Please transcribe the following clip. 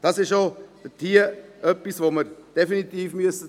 Dies ist auch etwas, das wir bedenken müssen.